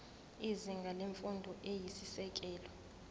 izinga lemfundo eyisisekelo